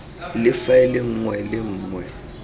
le faele nngwe le nngwe